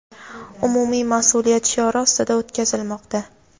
umumiy masʼuliyat shiori ostida o‘tkazilmoqda.